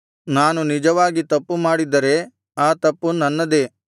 ನಾನು ನಿಜವಾಗಿ ತಪ್ಪುಮಾಡಿದ್ದರೆ ಆ ತಪ್ಪು ನನ್ನದೇ